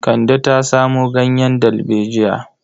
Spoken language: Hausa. Kande ta samo ganyen dalbejiya.